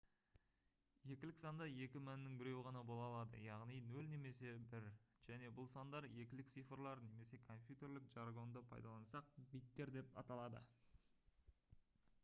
екілік санда екі мәннің біреуі ғана бола алады яғни 0 немесе 1 және бұл сандар екілік цифрлар немесе компьютерлік жаргонды пайдалансақ биттер деп аталады